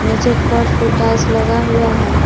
नीचे फर्श पे टाइल्स लगा हुआ है।